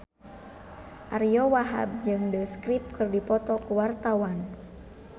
Ariyo Wahab jeung The Script keur dipoto ku wartawan